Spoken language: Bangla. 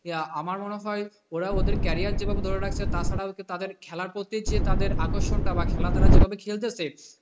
আমার মনে হয় ওরা ওদের career টা যেভাবে ধরে রাখছে, তাছাড়া হচ্ছে তাদের খেলার প্রতি যে বিশেষ আকর্ষণটা বা খেলা তারা যে ভাবে খেলতেছে,